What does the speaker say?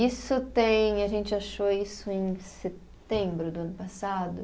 Isso tem, a gente achou isso em setembro do ano passado.